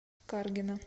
каргина